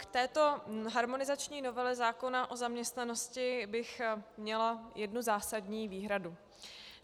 K této harmonizační novele zákona o zaměstnanosti bych měla jednu zásadní výhradu.